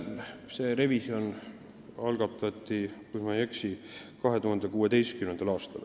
See revisjon algatati, kui ma eksi, 2016. aastal.